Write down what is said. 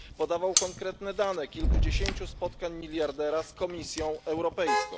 Podawał konkretne dane dotyczące kilkudziesięciu spotkań miliardera z Komisją Europejską.